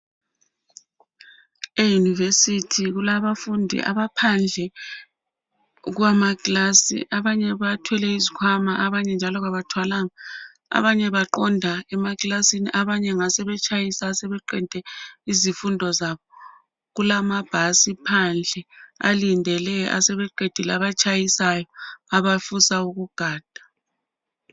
Eyunivesithi kulabafundi abaphandle kwamaklasi abanye bathwele izikhwama abanye njalo kabathwalanga abanye baqonda emaklasini abanye ngasebetshayisa asebeqede izifundo zabo. Kulamabhasi phandle alindele asebeqedile abatshayisayo abafisa ukugada.